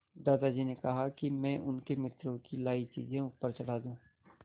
दादाजी ने कहा कि मैं उनके मित्रों की लाई चीज़ें ऊपर चढ़ा दूँ